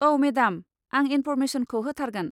औ मेडाम, आं इन्फ'रमेसनखौ होथारगोन।